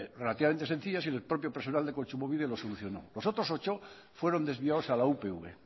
relativamente sencillas y el propio personal de kontsumobide lo solucionó los otros ocho fueron desviados a la upv